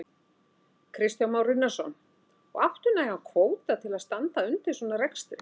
Kristján Már Unnarsson: Og áttu nægan kvóta til þess að standa undir svona rekstri?